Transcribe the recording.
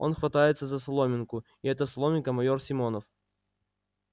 он хватается за соломинку и эта соломинка майор симонов